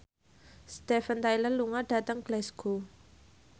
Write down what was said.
Steven Tyler lunga dhateng Glasgow